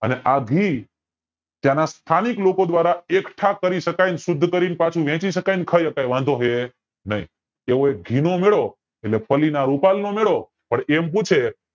અને આ ઘી ત્યાંના સ્થાનિક લોકો દ્વારા એકઠા કરી શકાય શુદ્ધ કરી ને પાછું વેચી શકાય ને ખાય શકાય વાંધો છે નય એવો એક ઘી નો મેળો પલ્લી ના રૂપાલ નો મેળો પણ એવું છે